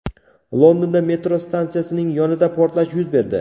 Londonda metro stansiyasining yonida portlash yuz berdi.